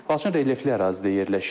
Laçın relyefli ərazidə yerləşir.